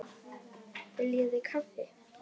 Viljið þið kaffi?